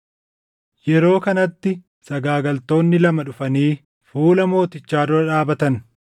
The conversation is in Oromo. Yeroo kanatti sagaagaltoonni lama dhufanii fuula mootichaa dura dhaabatan.